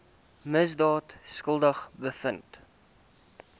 misdaad skuldig bevind